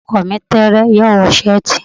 Ọkọ mi tẹẹrẹ, yoo wọ seeti.